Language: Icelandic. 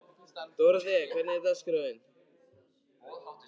Dóróthea, hvernig er dagskráin?